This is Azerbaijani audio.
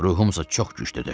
Ruhumsa çox güclüdür.